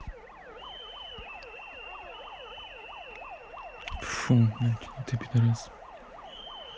фу ну ты и педорас